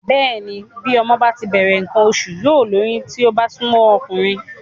Bẹ́ẹ̀ni bí ọmọ bá ti bẹ̀rẹ̀ nǹkan oṣù yóò lóyún bí ó bá súnmọ́ ọkùnrin